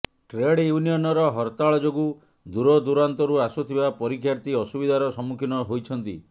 trade ୟୁନିୟନର ହରତାଳ ଯୋଗୁଁ ଦୂରଦୂରାନ୍ତରୁ ଆସୁଥିବା ପରୀକ୍ଷାର୍ଥୀ ଅସୁବିଧାର ସମ୍ମୁଖୀନ ହୋଇଛନ୍ତି